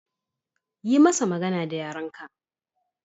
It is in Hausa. Yi masa magana da yaren ka